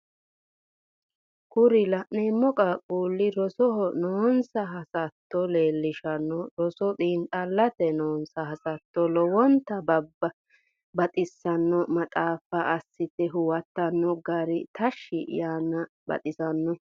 Kuri lanneemmo qaaqquulli rosoho noonsa hassatto leellishanno roso xiinxxallate noonsa hassatto lowonta baxxissanno maxaaffa assitte huwattanno gari tashshi yaanni baxxissanno